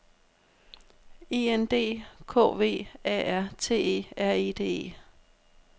I N D K V A R T E R E D E